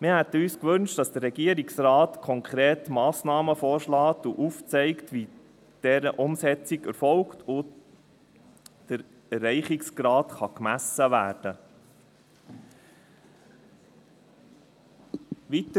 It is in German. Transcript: Wir hätten uns gewünscht, dass der Regierungsrat konkrete Massnahmen vorschlägt und aufzeigt, wie die Umsetzung erfolgt und wie der Erreichungsgrad gemessen werden kann.